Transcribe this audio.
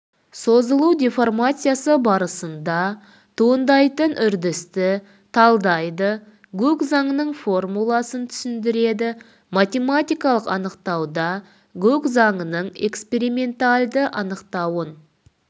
созылу деформациясы барысында туындайтын үрдісті талдайды гук заңының формуласын түсіндіреді математикалық анықтауда гук заңының экспериментальді анықтауын